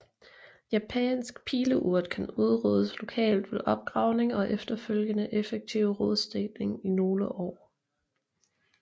Japansk Pileurt kan udryddes lokalt ved opgravning og efterfølgende effektiv rodstikning i nogle år